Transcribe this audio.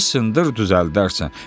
Döysındır düzəldərsən.